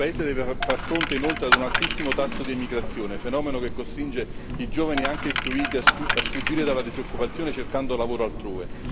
Il paese deve far fronte inoltre a un altissimo tasso di emigrazione, fenomeno che costringe i giovani anche istruiti a sfuggire dalla disoccupazione cercando lavoro altrove.